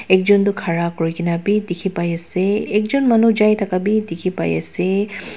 ekjon toh khara kurikena bi dikhipaiase ekjon manu jai thaka bi dikhipaiase.